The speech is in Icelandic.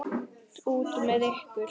Út með ykkur.